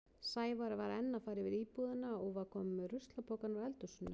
Sævar var enn að fara yfir íbúðina og var kominn með ruslapokann úr eldhúsinu.